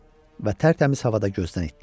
Və tərtəmiz havada gözdən itdiler.